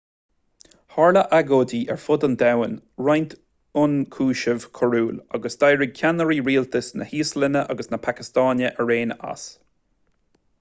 tharla agóidí ar fud an domhain roinnt ionchúiseamh coiriúil agus d'éirigh ceannairí rialtais na híoslainne agus na pacastáine araon as